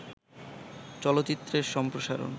চলচ্চিত্রের সম্প্রসারন